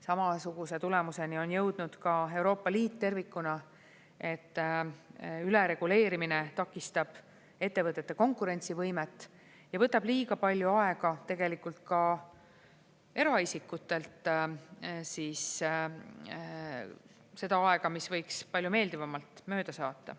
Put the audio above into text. Samasuguse tulemuseni on jõudnud ka Euroopa Liit tervikuna, et ülereguleerimine takistab ettevõtete konkurentsivõimet ja võtab liiga palju aega tegelikult ka eraisikutelt, seda aega, mida võiks palju meeldivamalt mööda saata.